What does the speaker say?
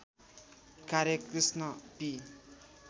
कार्य कृष्ण पी